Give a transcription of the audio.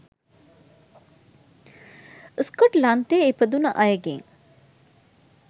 ස්කොට්ලන්තයේ ඉපදුන අයගෙන්.